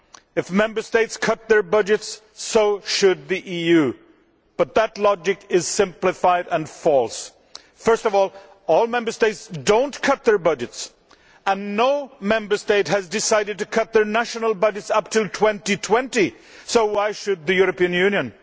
If Member States cut their budgets, so should the EU, but that logic is simplified and false. First of all, not all Member States have cut their budgets and no Member State has decided to cut their national budget up until 2020, so why should the European Union?